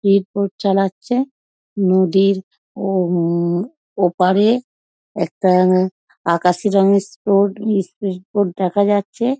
Speed boat চালাচ্ছে নদীর ওও ওপারে একটা আকাশি রঙের স্পড স্পিড বোট দেখা যাচ্ছে।